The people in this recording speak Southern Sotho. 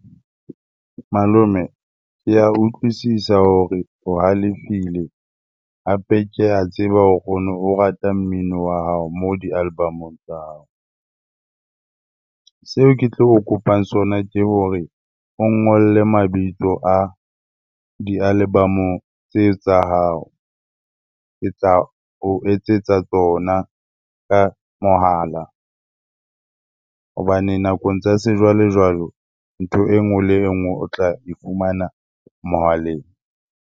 Malome, ke a utlwisisa hore o halefile hape ke a tseba hore ono o rata mmino wa hao moo di-album-ong tsa hao. Seo ke tlo o kopang sona ke hore o ngolle mabitso a di-album-o tseo tsa hao. Ke tla o etsetsa tsona ka mohala hobane nakong tsa sejwalejwalo ntho e nngwe le engwe o tla e fumana mohaleng.